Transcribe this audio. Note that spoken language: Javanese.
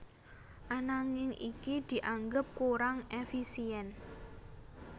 Ananging iki dianggep kurang éfisién